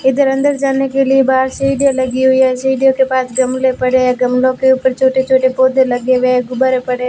इधर अंदर जाने के लिए बाहर सीढ़ियां लगी हुई है सीढ़ियों के पास गमले पड़े हैं गमलो के ऊपर छोटे-छोटे पौधे लगे हुए है गुब्बारे पड़े है।